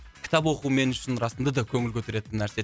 кітап оқу мен үшін расында да көңіл көтеретін нәрсе